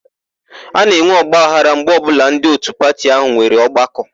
A na-enwe ọgbaghara mgbe ọbụla ndị òtù pati áhụ̀ nwere ọgbakọ.